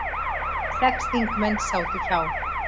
Sex þingmenn sátu hjá